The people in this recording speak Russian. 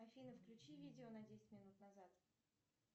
афина включи видео на десять минут назад